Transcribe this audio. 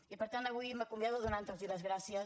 i per tant avui m’acomiado donant los les gràcies